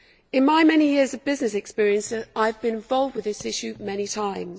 In my many years of business experience I have been involved with this issue many times.